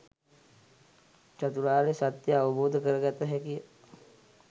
චතුරාර්ය සත්‍යය අවබෝධ කරගත හැකිය.